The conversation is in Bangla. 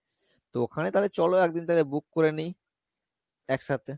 তো ওখানে তালে চলো একদিন তালে book করে নিই একসাথে